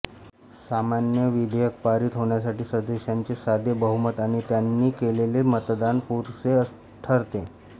सामान्य विधेयक पारित होण्यासाठी सदस्यांचे साधे बहुमत आणि त्यांनी केलेले मतदान पुरसे ठरते